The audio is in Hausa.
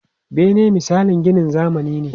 Bene misalin ginin zamani ne.